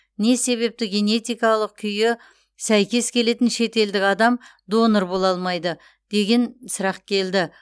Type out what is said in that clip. не себепті генетикалық күйі сәйкес келетін шетелдік адам донор бола алмайды деген сұрақ келді